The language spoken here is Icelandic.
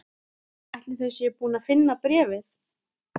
Ætli þau séu búin að finna bréfið?